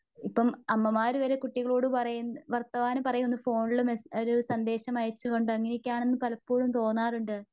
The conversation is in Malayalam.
ഇപ്പം അമ്മമാര് വരെ കുട്ടികളോട് പറയുന്ന വർത്തമാനം പറയുവോന്നു ഫോണില് ഒരു മേസ് ഒരു സന്ദേശം അയച്ചുകൊണ്ടാണ് അങ്ങനെയൊക്കെ ആണെന്ന് പലപ്പോഴും തോന്നാറുണ്ട്.